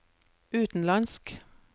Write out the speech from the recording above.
utenlandsk